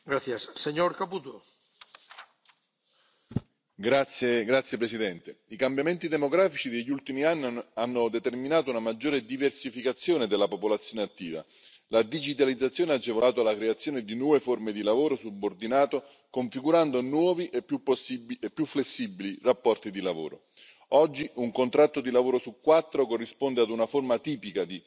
Signor Presidente, onorevoli colleghi, i cambiamenti demografici degli ultimi anni hanno determinato una maggiore diversificazione della popolazione attiva. La digitalizzazione ha agevolato la creazione di nuove forme di lavoro subordinato, configurando nuovi e più flessibili rapporti di lavoro. Oggi, un contratto di lavoro su quattro corrisponde ad una forma atipica di occupazione.